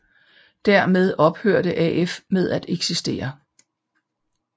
Dermed ophørte AF med at eksistere